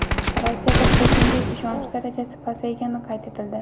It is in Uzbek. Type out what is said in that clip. Rossiyada Putinga ishonch darajasi pasaygani qayd etildi.